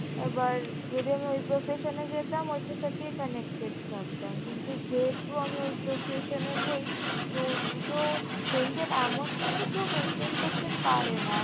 এবার যদি আমি ওই profession এ যেতাম ঐটার সাথেই connected থাকতাম কিন্তু যেহেতু আমি ওই profession এ নেই তো দুটো maintain এমন নয় যে কেউ maintain করতে পারে না